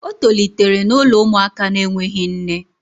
O tolitere n'ụlọ ụmụaka na-enweghị nne